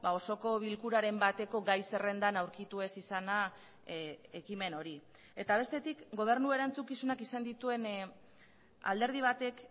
osoko bilkuraren bateko gai zerrendan aurkitu ez izana ekimen hori eta bestetik gobernu erantzukizunak izan dituen alderdi batek